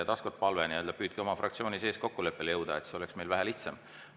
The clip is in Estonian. Taas kord palve, et püüdke oma fraktsiooni sees kokkuleppele jõuda, siis oleks meil vähe lihtsam.